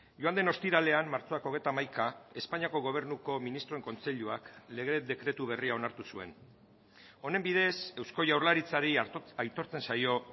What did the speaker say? joan den ostiralean martxoak hogeita hamaika espainiako gobernuko ministroen kontseiluak lege dekretu berria onartu zuen honen bidez eusko jaurlaritzari aitortzen zaio